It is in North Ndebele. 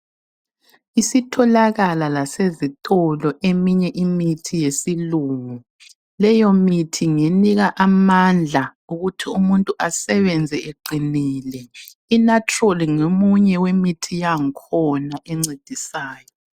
Isitholakala lasezitolo eminye imithi yesilungu leyo mithi ngenika amandla ukuthi umuntu asebenze eqinile. iNatrol ngomunye wemithi yangkhona encedisayo.